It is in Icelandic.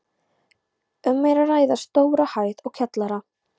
Um er að ræða stóra hæð og kjallara.